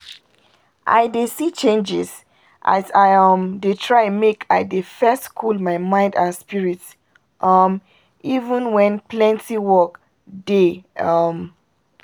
i dey see changes as i um dey try make i dey first cool my mind and spirit um even when plenty work dey um